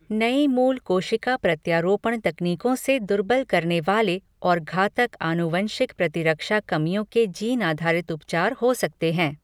नई मूल कोशिका प्रत्यारोपण तकनीकों से दुर्बल करने वाले और घातक आनुवंशिक प्रतिरक्षा कमियों के जीन आधारित उपचार हो सकते हैं।